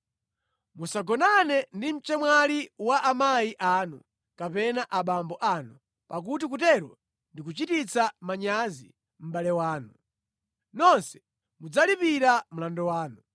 “ ‘Musagonane ndi mchemwali wa amayi anu kapena abambo anu, pakuti kutero ndi kuchititsa manyazi mʼbale wanu. Nonse mudzalipira mlandu wanu.